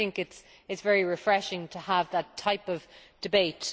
I think it is very refreshing to have that type of debate.